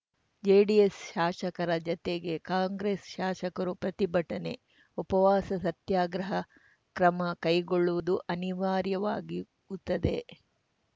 JDS ಶಾಸಕರ ಜತೆಗೆ ಕಾಂಗ್ರೆಸ್‌ ಶಾಸಕರು ಪ್ರತಿಭಟನೆ ಉಪವಾಸ ಸತ್ಯಾಗ್ರಹ ಕ್ರಮ ಕೈಗೊಳ್ಳುವುದು ಅನಿವಾರ್ಯವಾಗಿತ್ತದೆ